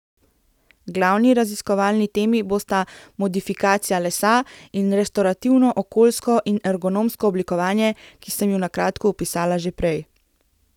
Glavni raziskovalni temi bosta modifikacija lesa in restorativno okoljsko in ergonomsko oblikovanje, ki sem ju na kratko opisala že prej.